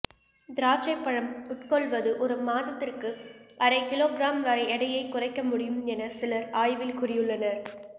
திராட்சைப்பழம் உட்கொள்வது ஒரு மாதத்திற்கு அரை கிலோகிராம் வரை எடையைக் குறைக்க முடியும் என சிலர் ஆய்வில் கூறியுள்ளனர்